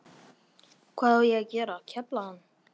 Hvað á ég að gera, kefla hana?